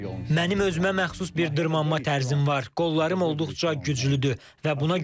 Mənim özümə məxsus bir dırmanma tərzim var, qollarım olduqca güclüdür və buna güvənirəm.